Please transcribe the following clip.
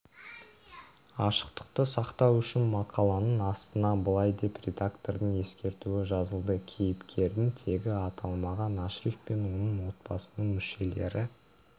ашықтықты сақтау үшін мақаланың астына былай деп редактордың ескертуі жазылды кейіпкердің тегі аталмаған ашриф пен оның отбасының мүшелері